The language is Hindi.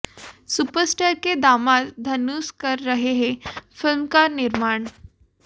सुपर स्टार के दामाद धनुष कर रहे हैं फिल्म का निर्माण